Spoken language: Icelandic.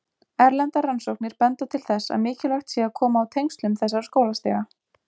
Erlendar rannsóknir benda til þess að mikilvægt sé að koma á tengslum þessara skólastiga.